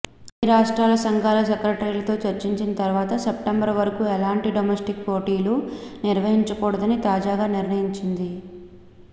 అన్ని రాష్ట్ర సంఘాల సెక్రటరీలతో చర్చించిన తర్వాత సెప్టెంబర్ వరకూ ఎలాంటి డొమెస్టిక్ పోటీలు నిర్వహించకూడదని తాజాగా నిర్ణయించింది